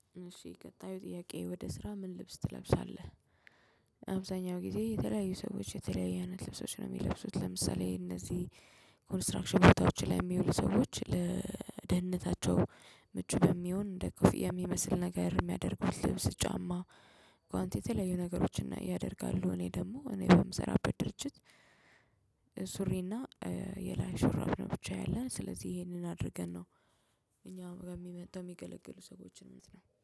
እሺ ቀጣዩ ጥያቄ ወደ ስራ ምን ልብስ ትለብሳለህ? አብዛኛው ጊዜ የተለያዩ ሰዎች የተለያየ አይነት ልብሶች ነው የሚለብሱት ለምሳሌ እነዚህ ኮንስትራክሽን ቦታዎች ላይ የሚውሉ ሰዎች ለደህንነታቸው ምቹ በሚሆን እንደ ኮፍያ የሚመስል ነገር የሚያደርጉት ልብስ ጫማ ጓንቲ ተለያዩ ነገሮችን ያደርጋሉ እኔ ደግሞ እኔ በምሰራበት ድርጅት ሱሪና የላይ ሹራብ ነው ብቻ ያለን ስለዚህ ይሄንን አድርገን ነው እኛም ጋር የሚመጣው የሚገለግሉ ሰዎችን ነው